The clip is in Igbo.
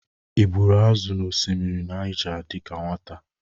Ị gburu azụ n'osimiri Nịaja dịka nwata?